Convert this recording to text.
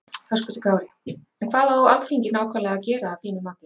Höskuldur Kári: En hvað á Alþingi nákvæmlega að gera að þínum mati?